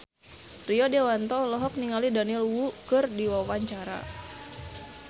Rio Dewanto olohok ningali Daniel Wu keur diwawancara